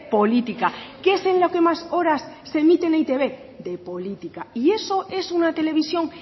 política qué es en lo que más horas se emite en e i te be de política y eso es una televisión